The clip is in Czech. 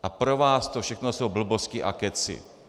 A pro vás to všechno jsou blbosti a kecy.